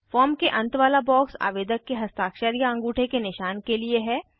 form के अंत वाला बॉक्स आवेदक के हस्ताक्षर या अंगूठे के निशान के लिए है